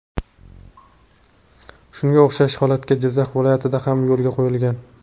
Shunga o‘xshash holatga Jizzax viloyatida ham yo‘l qo‘yilgan.